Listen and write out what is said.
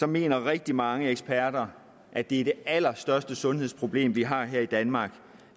mener rigtig mange eksperter at det er det allerstørste sundhedsproblem vi har her i danmark